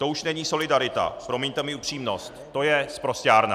To už není solidarita, promiňte mi upřímnost, to je sprosťárna!